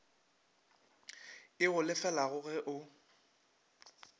e go lefelago ge o